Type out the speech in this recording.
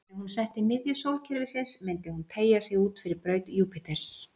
Væri hún sett í miðju sólkerfisins myndi hún teygja sig út fyrir braut Júpíters.